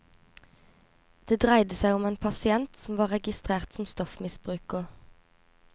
Det dreide seg om en pasient som var registrert som stoffmisbruker.